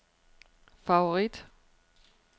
favorit